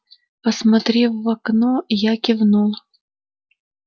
посмотрев в окно я кивнул